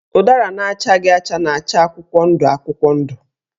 Ụdara na-achaghị acha na-acha akwụkwọ ndụ akwụkwọ ndụ.